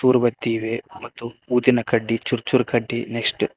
ಉಗುರ್ಬತ್ತಿ ಇವೆ ಮತ್ತು ಊದಿನ ಕಡ್ಡಿ ಚೂರ್ ಚೂರ್ ಕಡ್ಡಿ ನೆಕ್ಸ್ಟ್ --